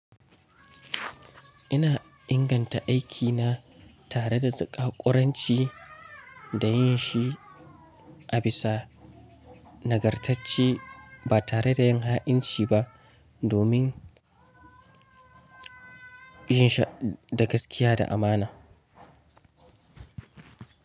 Ina inganta aikina tare da ƙaƙƙoranci da yin shi a bisa nagartacce ba tare da yin ha'inci ba domin yin shi da gaskiya da amana.